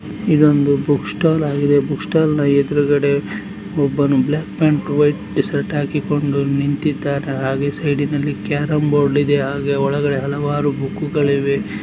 ಇದು ಒಂದು ಬುಕ್ಸ್ಟಾಲ್ ಆಗಿದೆ. ಬುಕ್ಸ್ಟಾಲ್ ನ ಎದುರುಗಡೆ ಒಬ್ಬನು ಬ್ಲಾಕ್ ಪ್ಯಾಂಟ್ ವೈಟ್ ಶರ್ಟ್ ಹಾಕಿಕೊಂಡು ನಿಂತಿದ್ದಾನೆ. ಹಾಗೆ ಸೈಡ್ ನಲ್ಲಿ ಕೇರಂಬೋರ್ಡ್ ಇದೆ ಹಾಗೆ ಒಳಗಡೆ ಹಲವಾರು ಬುಕ್ ಗಳು ಇವೆ.